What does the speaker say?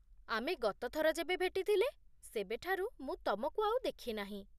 ଆମେ ଗତଥର ଯେବେ ଭେଟିଥିଲେ, ସେବେଠାରୁ ମୁଁ ତମକୁ ଆଉ ଦେଖିନାହିଁ